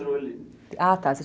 Ah, tá.